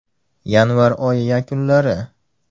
Yanvar oyi yakunlari.